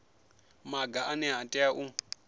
maga ane a tea u